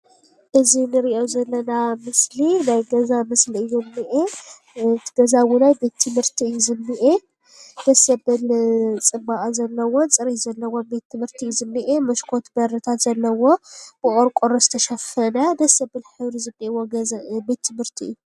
እዚ አንርእዮ ዘለና ምስሊ ናይ ገዛ ምስሊ እዩ ዝኒአ። እቲ ገዛ እውናይ ቤት -ትምህርቲ እዩ ዝኒአ ደስ ዘብል ፅባቀን ዘለዎን ፅርየትን ዘለዎ ቤት ትምህርቲ እዩ ዝኒአ መሽኮት በሪታት ዘለውዎ ብቆርቆሮ ዝተሸፈነ ደስ ዘብል ሕብሪ ዘለዎ ገዛ ቤት ትምህርቲ እዩ።